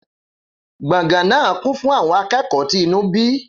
Gbọ̀ngàn náà kún fún àwọn akẹ́kọ̀ọ́ tí inú bí.